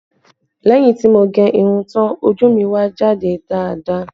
Lẹ́yìn tí mo gẹ irun tán, ojú mi wá jáde dáadáa